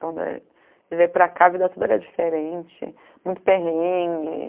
Quando ele veio para cá, a vida toda era diferente, muito perrengue.